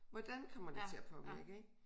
Hvordan kommer det til at påvirke ik